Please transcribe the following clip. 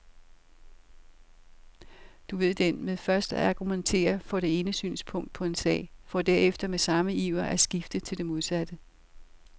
Du ved den, med først at argumentere for det ene synspunkt på en sag, for derefter med samme iver at skifte til det modsatte.